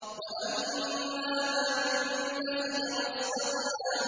وَأَمَّا مَن بَخِلَ وَاسْتَغْنَىٰ